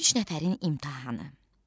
Üç nəfərin imtahanı.